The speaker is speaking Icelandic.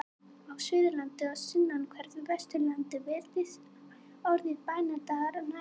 Á Suðurlandi og sunnanverðu Vesturlandi virðist orðið bænadagar nær einhaft.